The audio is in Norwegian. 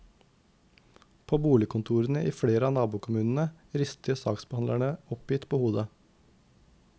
På boligkontorene i flere av nabokommunene rister saksbehandlerne oppgitt på hodet.